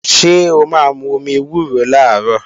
Ṣé o máa mú omi ewúro làárọ̀?